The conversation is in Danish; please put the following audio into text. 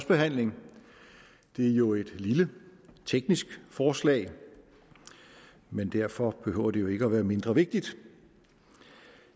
behandling det er jo et lille teknisk forslag men derfor behøver det jo ikke at være mindre vigtigt